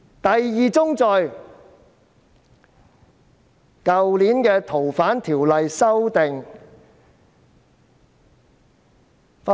第二宗罪，是在去年修訂《逃犯條例》時發生。